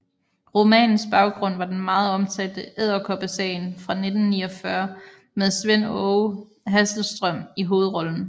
Romanens baggrund var den meget omtalte Edderkoppesagen fra 1949 med Svend Aage Hasselstrøm i hovedrollen